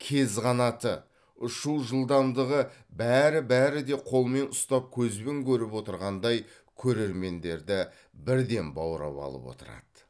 кез қанаты ұшу жылдамдығы бәрі бәріде қолмен ұстап көзбен көріп отырғандай көрермендерді бірден баурап алып отырады